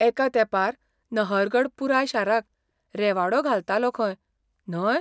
एका तेंपार नहरगड पुराय शाराक रेवाडो घालतालो खंय, न्हय?